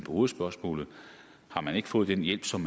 hovedspørgsmålet har man ikke fået den hjælp som